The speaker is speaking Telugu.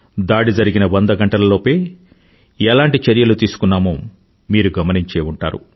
దాడి జరిగిన వంద గంటల లోపే ఎలాంటి చర్యలు తీసుకున్నామో మీరు గమనించే ఉంటారు